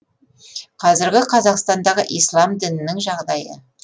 қазіргі қазақстандағы ислам дінінің жағдайы